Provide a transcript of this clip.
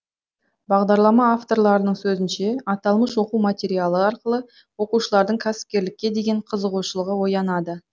бағдарлама авторларының сөзінше аталмыш оқу материалы арқылы оқушылардың кәсіпкерлікке деген қызығушылығы оянады